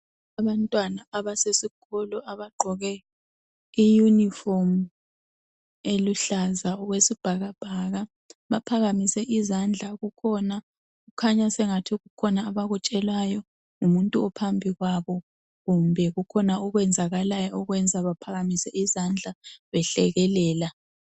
Abantwana abasesikolo abagqoke iyunifomu eluhlaza okwesibhakabhaka. Baphakamise izandla. Kukhona kukhanya sengathi kukhona abakutshelwayo ngumuntu ophambi kwabo kumbe kukhona okwenzakayo okwenza baphakamise izandla behlekelela.